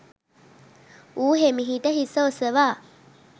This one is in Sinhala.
ඌ හෙමිහිට හිස ඔසවා